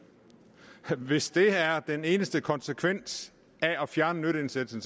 hvis det er den eneste konsekvens af at fjerne indsatsen